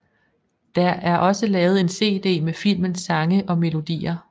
Der er også lavet en CD med filmens sange og melodier